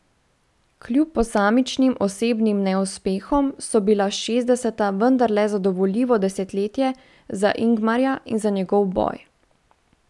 Kljub posamičnim osebnim neuspehom so bila šestdeseta vendarle zadovoljivo desetletje za Ingmarja in za njegov boj.